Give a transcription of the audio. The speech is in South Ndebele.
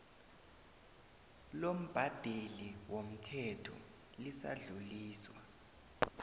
lombhadeli womthelo lisadluliswa